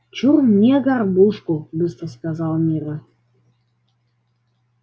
чур мне горбушку быстро сказала мирра